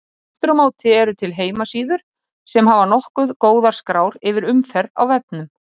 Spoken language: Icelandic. Aftur á móti eru til heimasíður sem hafa nokkuð góðar skrár yfir umferð á vefnum.